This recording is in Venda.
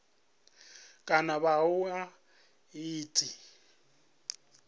kana vha ṱoḓa ḽi tshi